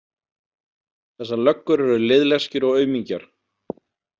Þessar löggur eru liðleskjur og aumingjar.